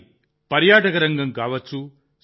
అది పర్యాటక రంగం కావచ్చు